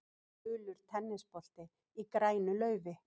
Gulur tennisbolti í grænu laufi.